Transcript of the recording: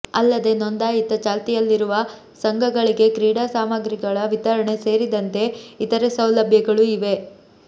ಅಲ್ಲದೆ ನೋಂದಾಯಿತ ಚಾಲ್ತಿಯಲ್ಲಿರುವ ಸಂಘಗಳಿಗೆ ಕ್ರೀಡಾ ಸಾಮಗ್ರಿಗಳ ವಿತರಣೆ ಸೇರಿದಂತೆ ಇತರೆ ಸೌಲಭ್ಯಗಳು ಇವೆ